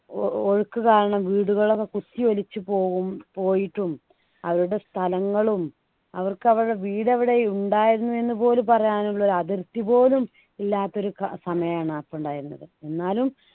ഒഴുക്ക് കാരണം വീടുകളൊക്കെ കുത്തിയൊലിച്ചു പോവും പോയിട്ടും അവരുടെ സ്ഥലങ്ങളും അവർക്ക് അവരുടെ വീട് അവിടെ ഉണ്ടായിരുന്നു എന്നുപോലും പറയാനുള്ള ഒരു അതിർത്തി പോലും ഇല്ലാത്ത ഒരു ക സമയമാണ് അപ്പൊ ഉണ്ടായിരുന്നത് എന്നാലും